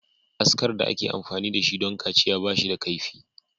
Askar da ake amfani da shi don kaciya ba shi da kaifi.